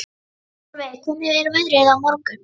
Solveig, hvernig er veðrið á morgun?